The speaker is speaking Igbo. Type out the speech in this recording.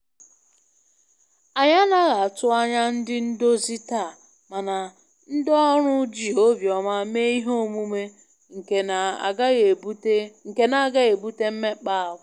Anyị anaghị atụ anya ndị ndozi taa, mana ndị ọrụ ji obiọma mee Ihe omume nke na agaghị ebute mmekpa ahụ